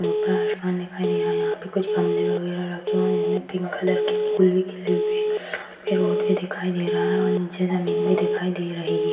ऊपर आसमान दिखाई दे रहा है यहां पर कुछ गमले वगैरा रखे हुए है हमे पिंक कलर के फुल भी पेड़ उर भी दिखाई दे रहा है और नीचे जमीन भी दिखाई दे रही है।